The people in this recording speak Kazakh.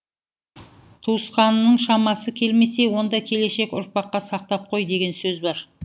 туысқаныңның шамасы келмесе онда келешек ұрпаққа сақтап қой деген сөз бар